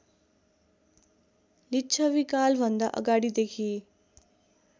लिच्छवीकालभन्दा अगाडिदेखि